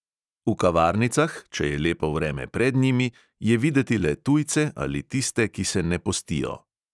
V kavarnicah, če je lepo vreme pred njimi, je videti le tujce ali tiste, ki se ne postijo.